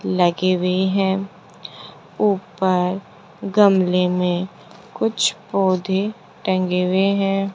लगे वे हैं ऊपर गमले में कुछ पौधे टंगे वे हैं।